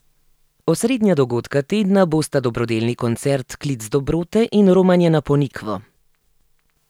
Osrednja dogodka tedna bosta dobrodelni koncert Klic dobrote in romanje na Ponikvo.